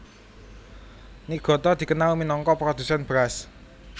Niigata dikenal minangka produsèn beras